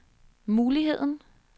muligheden